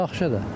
Yaxşı da.